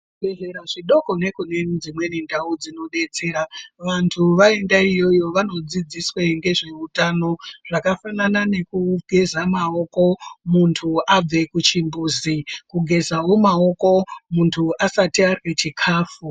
Zvibhedhlera zvidoko zvekune dzimweni ndau dzinodetsera vanthu vaenda iyoyo vanodzidziswa ngezve utano. Zvakafanana nekugeza maoko munthu abve kuchimbuzi, kugezawo maoko munthu asati arye chikhafu.